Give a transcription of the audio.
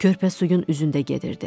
Körpə suyun üzündə gedirdi.